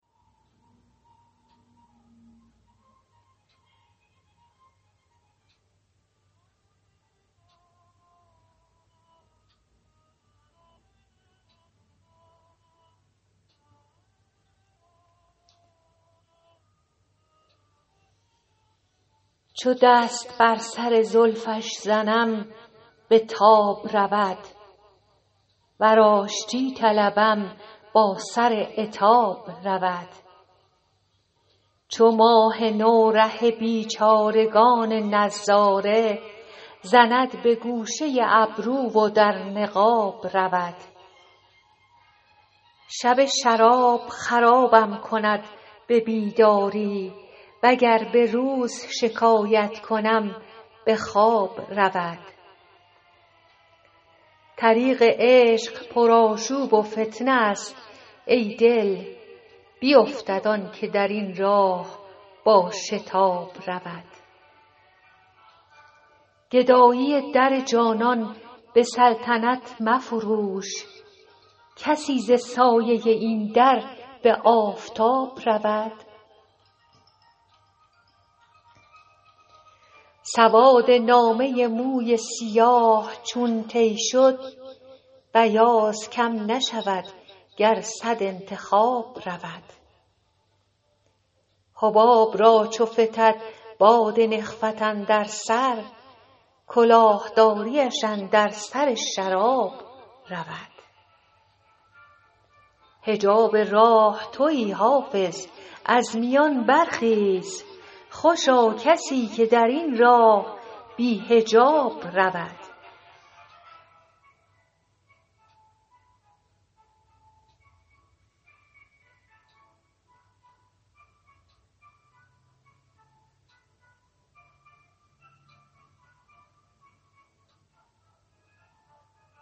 چو دست بر سر زلفش زنم به تاب رود ور آشتی طلبم با سر عتاب رود چو ماه نو ره بیچارگان نظاره زند به گوشه ابرو و در نقاب رود شب شراب خرابم کند به بیداری وگر به روز شکایت کنم به خواب رود طریق عشق پرآشوب و فتنه است ای دل بیفتد آن که در این راه با شتاب رود گدایی در جانان به سلطنت مفروش کسی ز سایه این در به آفتاب رود سواد نامه موی سیاه چون طی شد بیاض کم نشود گر صد انتخاب رود حباب را چو فتد باد نخوت اندر سر کلاه داریش اندر سر شراب رود حجاب راه تویی حافظ از میان برخیز خوشا کسی که در این راه بی حجاب رود